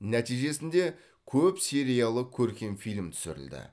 нәтижесінде көп сериялы көркем фильм түсірілді